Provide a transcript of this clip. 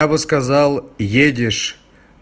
я бы сказал едешь